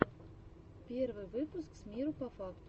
первый выпуск с миру по факту